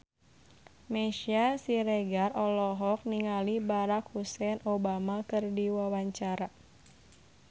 Meisya Siregar olohok ningali Barack Hussein Obama keur diwawancara